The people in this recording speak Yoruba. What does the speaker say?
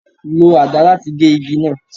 Lo àdá láti gé igi náà.